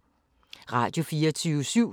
Radio24syv